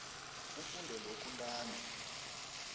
ufunde lokhu ntanzi